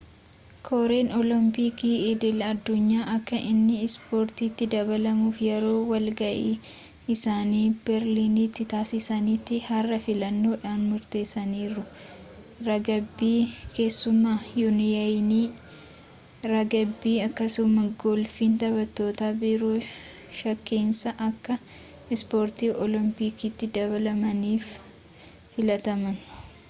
koreen oolompikii idil-addunyaa akka inni ispoortitti dabalamuuf yeroo wal ga'ii isaanii beerliniiti taasisaanitti har'a filannoodhaan murteessaniiru ragbii keessumaa yuuniyeniin ragbii akkasumaas golfiin taphoota biroo shankeessaa akka ispoortii oolompikiitti dabalamaniif filataman